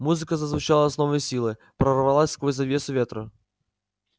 музыка зазвучала с новой силой прорвалась сквозь завесу ветра